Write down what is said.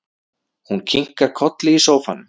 Hún kinkar kolli í sófanum.